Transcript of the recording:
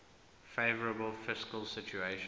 favourable fiscal situation